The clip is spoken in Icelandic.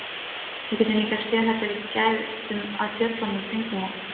Við getum líka séð þetta ef við gætum að fjöllunum kringum okkur.